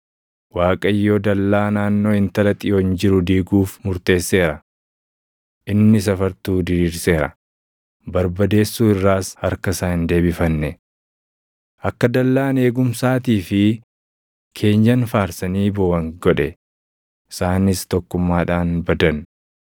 Waaqayyo dallaa naannoo Intala Xiyoon jiru diiguuf murteesseera. Inni safartuu diriirseera; barbadeessuu irraas harka isaa hin deebifanne. Akka dallaan eegumsaatii fi keenyan faarsanii booʼan godhe; isaanis tokkummaadhaan badan.